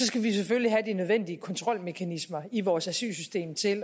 skal vi selvfølgelig have de nødvendige kontrolmekanismer i vores asylsystem til